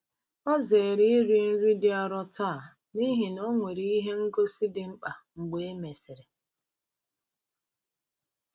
Ọ zere iri nri dị arọ taa n’ihi na ọ nwere ihe ngosi dị mkpa mgbe e mesịrị.